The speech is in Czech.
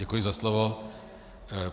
Děkuji za slovo.